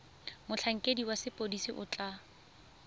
motlhankedi wa sepodisi o tla